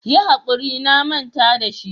Yi hakuri na manta da shi.